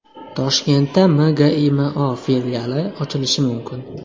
Toshkentda MGIMO filiali ochilishi mumkin.